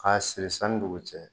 An b'a siri san ni dugu cɛ.